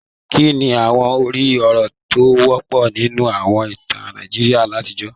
Kí ni àwọn orí-ọ̀rọ̀ tó wọ́pọ̀ nínú àwọn ìtàn Nàìjíríà àtijọ́?